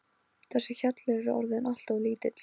Þessi hjallur er orðinn allt of lítill.